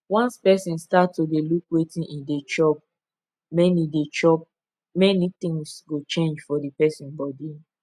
once person start to dey look wetin e dey chop many dey chop many things go change for the person body